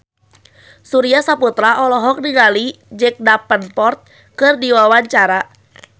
Surya Saputra olohok ningali Jack Davenport keur diwawancara